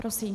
Prosím.